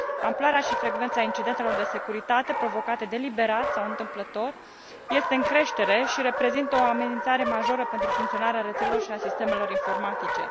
Amploarea și frecvența incidentelor de securitate provocate deliberat sau întâmplător este în creștere și reprezintă o amenințare majoră pentru funcționarea rețelelor și a sistemelor informatice.